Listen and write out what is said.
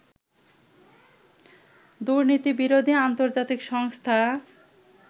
দুর্নীতিবিরোধী আন্তর্জাতিক সংস্থা